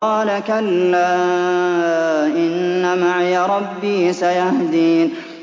قَالَ كَلَّا ۖ إِنَّ مَعِيَ رَبِّي سَيَهْدِينِ